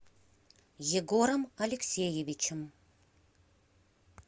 егором алексеевичем